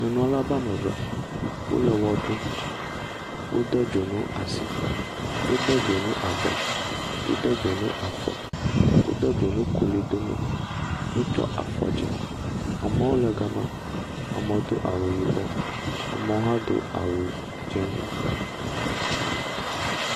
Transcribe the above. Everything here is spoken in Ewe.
Nyɔnu aɖe ƒe ame eve wole ʋe ɖum. Wode dzonu asi, wode dzonu abɔ, wode dzonu afɔ, wode dzonu klo dome, wotsɔ afɔ dzi. Amewo le gema, amewo do awu yibɔ. Amewo hã do awu dzɛ̃.